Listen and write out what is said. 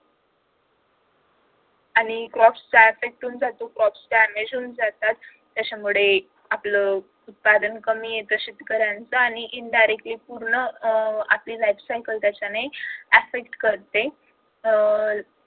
त्याच्यामुळे आपलं उत्पादन कमी येत शेतकऱ्यांचं आणि indirectly पूर्ण आपली life cycle त्याच्याने affite करते